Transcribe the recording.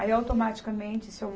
Aí, automaticamente, o Seu